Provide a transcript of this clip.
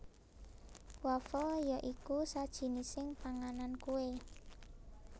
Wafel ya iku sajinising panganan kue